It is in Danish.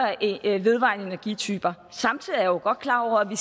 vedvarende energityper samtidig er jeg jo godt klar over at vi